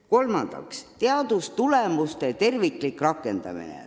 Kolmandaks, teadustulemuste terviklik rakendamine.